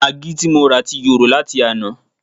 Magí ti morà ti yòrò láti àná